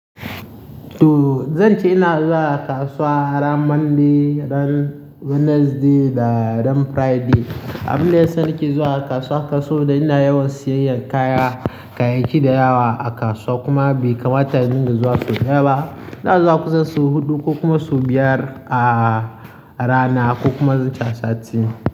To zan ce ina zuwa kasuwa ran Monday, ran Wednesday da ran Friday. Abinda ya sa nake zuwa kasuwa kasuwa ina yawan siyayyar kaya, kayayyaki da yawa a kasuwa kuma bai kamata ni in zuwa sau daya ba. Ina zuwa kusan sau huɗu ko kuma sau biyar a rana ko kuma zan ce a sati.